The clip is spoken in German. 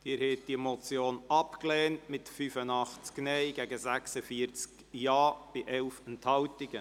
Sie haben diese Motion abgelehnt mit 85 Nein- gegen 46 Ja-Stimmen bei 11 Enthaltungen.